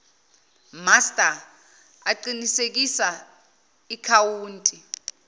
master aqinisekisa ikhawunti